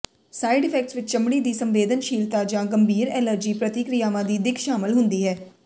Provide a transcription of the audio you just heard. side effects ਵਿੱਚ ਚਮੜੀ ਦੀ ਸੰਵੇਦਨਸ਼ੀਲਤਾ ਜਾਂ ਗੰਭੀਰ ਐਲਰਜੀ ਪ੍ਰਤੀਕ੍ਰਿਆਵਾਂ ਦੀ ਦਿੱਖ ਸ਼ਾਮਲ ਹੁੰਦੀ ਹੈ